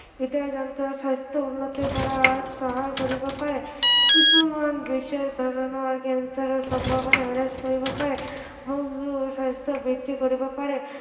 হৃদযন্ত্ৰৰ স্ৱাস্থ্য় উন্নত কৰাত সহায় কৰিব পাৰে, কিছুমান বিশেষ ধৰণৰ cancer ৰ সম্ভাৱনা হ্ৰাস কৰিব পাৰে, স্ৱাস্থ্য় বৃদ্ধি কৰিব পাৰে